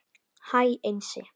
Hæ Einsi